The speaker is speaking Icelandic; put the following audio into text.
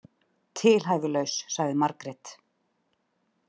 Tilhæfulaus, sagði Margrét.